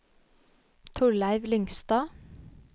Torleiv Lyngstad